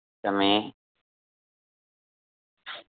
તમે